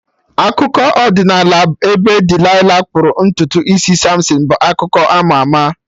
Akụkọ ọdịnala ebe Delilah kpụrụ ntutu isi Samson bụ akụkọ ama ama